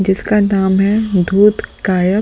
जिसका नाम है धूत काया--